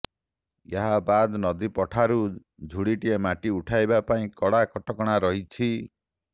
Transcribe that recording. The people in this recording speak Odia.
ଏହାବାଦ୍ ନଦୀପଠାରୁ ଝୁଡିଏ ମାଟି ଉଠାଯିବା ପାଇଁ କଡା କଟକଣା ରହିଛି